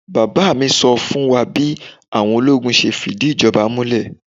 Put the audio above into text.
Bàbá mi sọ fún wa bí àwọn ológun ṣe fìdí ìjọba múlẹ̀.